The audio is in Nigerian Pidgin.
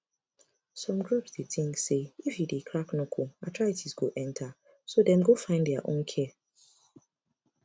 some groups dey think say if you dey crack knuckle arthritis go enter so dem go find their own care